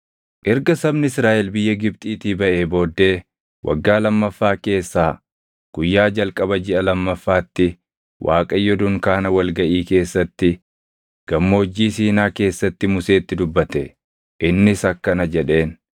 Erga sabni Israaʼel biyya Gibxiitii baʼee booddee waggaa lammaffaa keessaa, guyyaa jalqaba jiʼa lammaffaatti Waaqayyo dunkaana wal gaʼii keessatti, Gammoojjii Siinaa keessatti Museetti dubbate. Innis akkana jedheen;